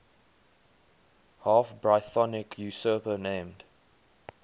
half brythonic usurper named